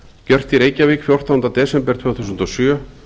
gjört í reykjavík fjórtánda desember tvö þúsund og sjö